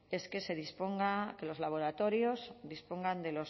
es que se disponga que los laboratorios dispongan de